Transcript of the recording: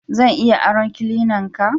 Zan iya aron cleanan ka?